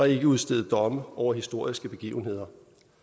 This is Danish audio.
ikke at udstede domme over historiske begivenheder